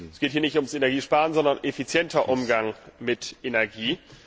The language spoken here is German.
Es geht hier nicht ums Energiesparen, sondern um effizienten Umgang mit Energie.